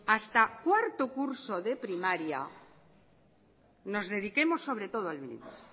hasta cuarto curso de primaria nos dedicamos sobre todo al bilingüismo